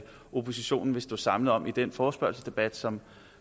oppositionen vil stå samlet om i den forespørgselsdebat som